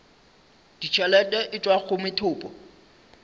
ditšhelete e tšwa go methopo